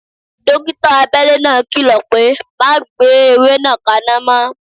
Dókítà abele náà kìlọ̀ pé "Má gbé ewé náà kana mo"